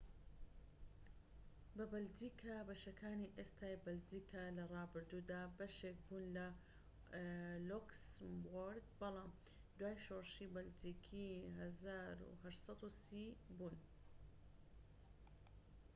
بەشەکانی ئێستای بەلجیکا لە ڕابردوودا بەشێک بوون لە لۆکسمبورگ بەڵام دوای شۆڕشی بەلجیکی 1830ی بوون‎ بە بەلجیکا